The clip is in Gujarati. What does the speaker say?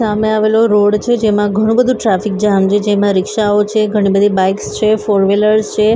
સામે આવેલો રોડ છે જેમા ઘણુ-બધુ ટ્રાફિક જામ છે. જેમા રિક્ષાઓ છે ઘણી બધી બાઇક્સ છે ફોર વ્હિલર છે.